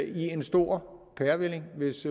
i en stor pærevælling hvis